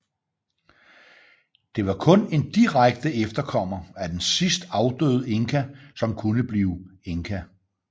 Det var kun en direkte efterkommer af den sidst afdøde inka som kunne blive inka